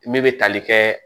Ne bɛ tali kɛ